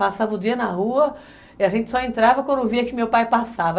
Passava o dia na rua e a gente só entrava quando via que meu pai passava.